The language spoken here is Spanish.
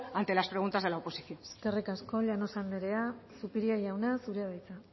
ante las preguntas de la oposición eskerrik asko llanos andrea zupiria jauna zurea da hitza